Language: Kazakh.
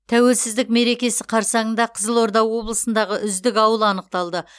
тәуелсіздік мерекесі қарсаңында қызылорда облысындағы үздік ауыл анықталды